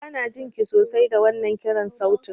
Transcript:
Banajin ki sosai da wannan kiran sautin.